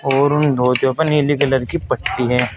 और उन धोतियो पर नीले कलर की पट्टी है।